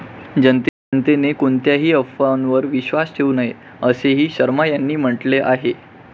जनतेने कोणत्याही अफवांवर विश्वास ठेऊ नये, असेही शर्मा यांनी म्हटले आहे.